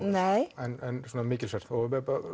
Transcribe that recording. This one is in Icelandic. nei en mikilsvert og